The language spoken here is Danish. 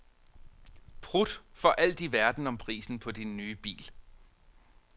Prut for alt i verden om prisen på din nye bil.